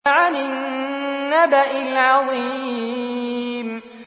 عَنِ النَّبَإِ الْعَظِيمِ